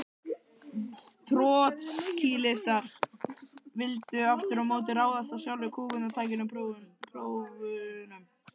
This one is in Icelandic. Trotskíistar vildu aftur á móti ráðast að sjálfu kúgunartækinu: prófunum.